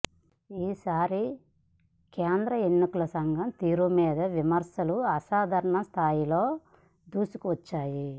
ఈసారి కేంద్ర ఎన్నికల సంఘం తీరు మీద విమర్శలు అసాధారణ స్థాయిలో దూసుకువచ్చాయి